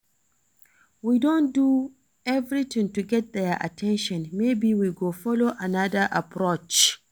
We don do everything to get their at ten tion maybe we go follow another approach